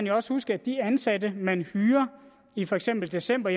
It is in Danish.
jo også huske at de ansatte man hyrer i for eksempel december